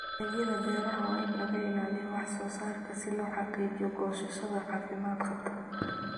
Dalagga beeraha waa in laga ilaaliyaa wax-soo-saarka si loo xaqiijiyo goosashada caafimaad qabta.